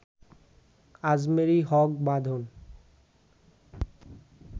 Ajmeri Haque Badhon